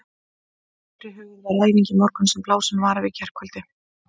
Fyrirhuguð var æfing í morgun sem blásin var af í gærkvöldi.